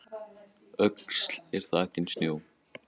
Öxl er þakin snjó